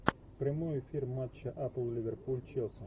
прямой эфир матча апл ливерпуль челси